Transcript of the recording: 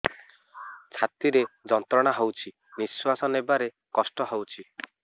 ଛାତି ରେ ଯନ୍ତ୍ରଣା ହଉଛି ନିଶ୍ୱାସ ନେବାରେ କଷ୍ଟ ହଉଛି